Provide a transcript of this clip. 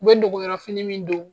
U be dogoyɔrɔ fini min don